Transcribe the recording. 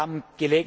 wir haben